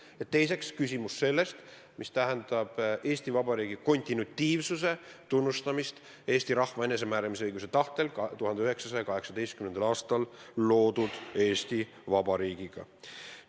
Ja teine küsimus on seotud Eesti Vabariigi kontinuitiivsuse tunnustamisega, et tegu on Eesti rahva enesemääramisõiguse tahtel 1918. aastal loodud Eesti Vabariigi järjepidevusega.